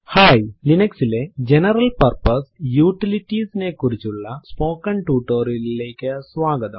hi ലിനക്സിലെ general purpose utilities നെ കുറിച്ചുള്ള സ്പോക്കെൻ ടുട്ടോറിയലിലേക്ക് സ്വാഗതം